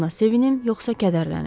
Buna sevinim yoxsa kədərlənim.